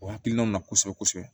O hakilinaw na kosɛbɛ kosɛbɛ